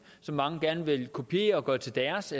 som mange gerne vil kopiere og gøre til deres